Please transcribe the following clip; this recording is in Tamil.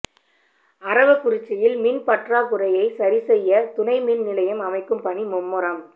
அரவக்குறிச்சியில் மின் பற்றாக்குறையை சரி செய்ய துணை மின்நிலையம் அமைக்கும் பணி மும்முரம்